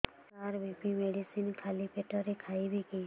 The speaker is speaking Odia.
ସାର ବି.ପି ମେଡିସିନ ଖାଲି ପେଟରେ ଖାଇବି କି